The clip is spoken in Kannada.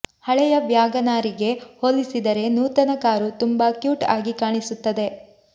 ಹಳೆಯ ವ್ಯಾಗನಾರಿಗೆ ಹೋಲಿಸಿದರೆ ನೂತನ ಕಾರು ತುಂಬಾ ಕ್ಯೂಟ್ ಆಗಿ ಕಾಣಿಸುತ್ತದೆ